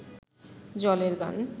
জলের গান